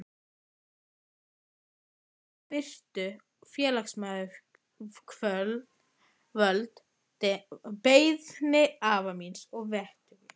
Sem betur fór virtu félagsmálayfirvöld beiðni afa míns að vettugi.